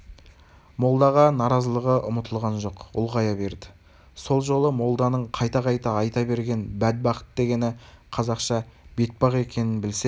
молдаға наразылығы ұмытылған жоқ ұлғая берді сол жолы молданың қайта-қайта айта берген бәдбахыт дегені қазақша бетпақ екенін білсе